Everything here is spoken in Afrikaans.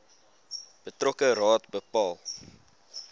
betrokke raad bepaal